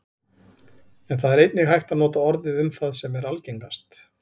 en það er einnig hægt að nota orðið um það sem er algengast